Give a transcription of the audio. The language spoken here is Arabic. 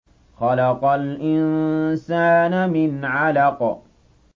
خَلَقَ الْإِنسَانَ مِنْ عَلَقٍ